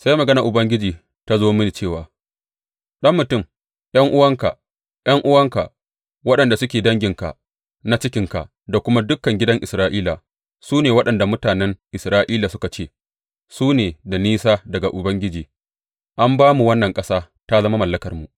Sai maganar Ubangiji ta zo mini cewa, Ɗan mutum, ’yan’uwanka, ’yan’uwanka waɗanda suke danginka na cikinka da kuma dukan gidan Isra’ila su ne waɗanda mutanen Urushalima suka ce, Su ne da nisa daga Ubangiji; an ba mu wannan ƙasa ta zama mallakarmu.’